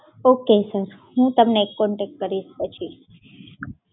Okay sir. હું તમને contact કરીસ પછી.